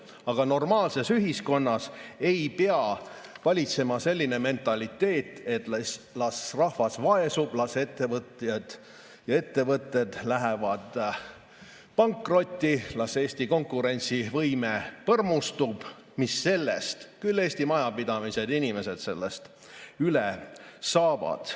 Aga normaalses ühiskonnas ei pea valitsema selline mentaliteet, et las rahvas vaesub, las ettevõtjad ja ettevõtted lähevad pankrotti, las Eesti konkurentsivõime põrmustub – mis sellest, küll Eesti majapidamised ja inimesed sellest üle saavad.